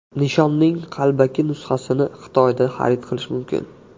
Nishonning qalbaki nusxasini Xitoyda xarid qilish mumkin.